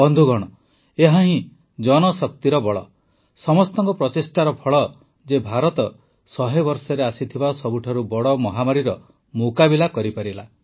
ବନ୍ଧୁଗଣ ଏହା ଜନଶକ୍ତିର ହିଁ ବଳ ସମସ୍ତଙ୍କ ପ୍ରଚେଷ୍ଟାର ଫଳ ଯେ ଭାରତ ୧୦୦ ବର୍ଷରେ ଆସିଥିବା ସବୁଠାରୁ ବଡ଼ ମହାମାରୀର ମୁକାବିଲା କରିପାରିଲା